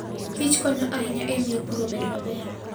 kichkonyo ahinya e miyo pur obed maber.